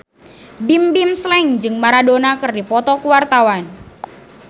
Bimbim Slank jeung Maradona keur dipoto ku wartawan